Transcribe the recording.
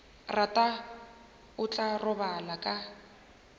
rata o tla robala ka